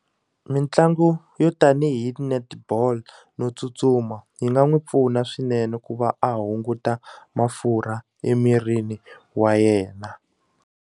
Mitlangu yo tanihi netball no tsutsuma yi nga n'wi pfuna swinene ku va a hunguta mafurha emirini wa yena.